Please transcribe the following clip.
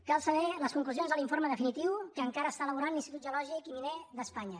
cal saber les conclusions de l’informe definitiu que encara està elaborant l’institut geològic i miner d’espanya